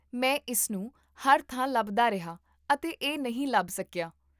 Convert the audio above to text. ਮੈਂ ਇਸ ਨੂੰ ਹਰ ਥਾਂ ਲੱਭਦਾ ਰਿਹਾ ਅਤੇ ਇਹ ਨਹੀਂ ਲੱਭ ਸਕਿਆ